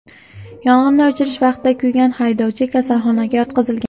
Yong‘inni o‘chirish vaqtida kuygan haydovchi kasalxonaga yotqizilgan.